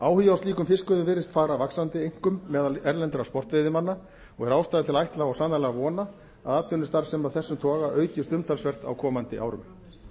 áhugi á slíkum fiskveiðum virðist fara vaxandi einkum meðal erlendra sportveiðimanna og er ástæða til að ætla og sannarlega vona að atvinnustarfsemi af þessum toga aukist umtalsvert á komandi árum